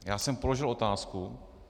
Já jsem položil otázku.